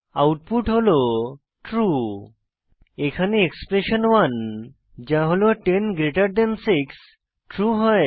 output হল true এখানে expression 1 যা হল 10 6 ট্রু হয়